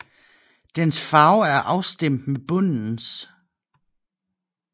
Dens farve er afstemt med bundens